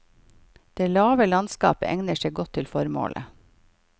Det lave landskapet egner seg godt til formålet.